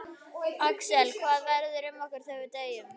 Axel: Hvað verður um okkur þegar við deyjum?